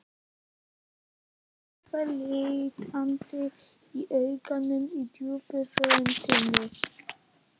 Það var eitthvað leitandi í augunum, í djúpri röddinni.